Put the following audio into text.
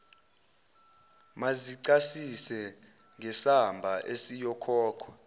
mazicacise ngesamba esiyokhokhwa